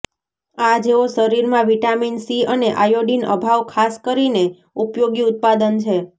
આ જેઓ શરીરમાં વિટામિન સી અને આયોડિન અભાવ ખાસ કરીને ઉપયોગી ઉત્પાદન છે